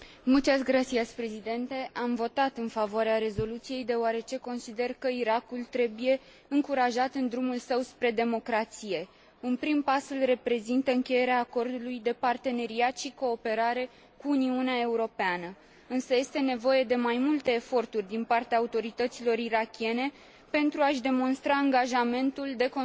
Am votat în favoarea rezoluției, deoarece consider că Irakul trebuie încurajat în drumul său spre democrație. Un prim pas îl reprezintă încheierea acordului de parteneriat și cooperare cu Uniunea Europeană, însă este nevoie de mai multe eforturi din partea autorităților irakiene, pentru a și demonstra angajamentul de consolidare democratică.